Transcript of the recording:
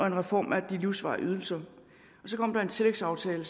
en reform af de livsvarige ydelser så kom der en tillægsaftale